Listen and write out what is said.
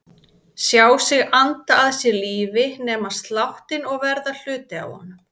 Sjá sig anda að sér lífi, nema sláttinn og verða hluti af honum.